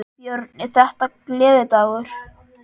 Björn: Er þetta gleðidagur?